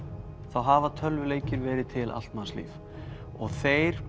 hafa tölvuleikir verið til allt manns líf þeir